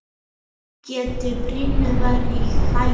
Geta brýrnar verið í hættu?